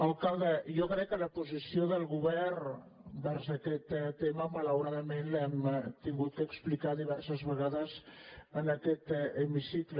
alcalde jo crec que la posició del govern vers aquest tema malauradament l’hem hagut d’explicar diverses vegades en aquest hemicicle